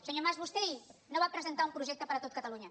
senyor mas vostè ahir no va presentar un projecte per a tot catalunya